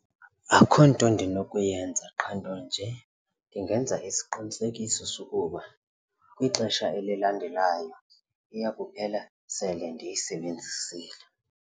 Akukho nto ndinokuyenza qha nto nje ndingenza isiqinisekiso sokuba kwixesha elilandelayo iya kuphela sele ndiyisebenzisile.